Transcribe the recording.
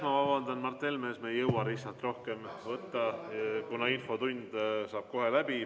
Ma vabandan, Mart Helme, me ei jõua lihtsalt rohkem küsimusi võtta, kuna infotund saab kohe läbi.